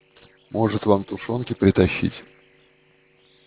может вам тушёнки притащить